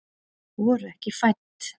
Voru ekki fædd